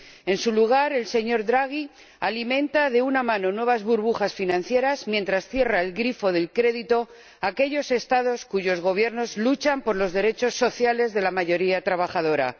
En su lugar, el señor Draghi alimenta con una mano nuevas burbujas financieras mientras con la otra cierra el grifo del crédito a aquellos Estados cuyos Gobiernos luchan por los derechos sociales de la mayoría trabajadora.